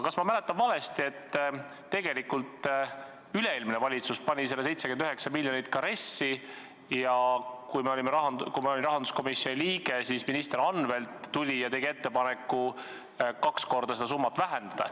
Kas ma mäletan valesti, et tegelikult üle-eelmine valitsus pani selle 79 miljonit eurot ka RES-i ja kui ma olin rahanduskomisjoni liige, siis minister Anvelt tuli ja tegi ettepaneku kaks korda seda summat vähendada?